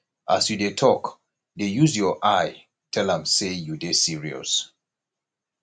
as you dey tok dey use your eye tell am sey you dey serious